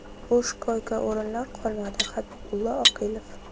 Bo‘sh koyka-o‘rinlar qolmadi” Habibulla Oqilov.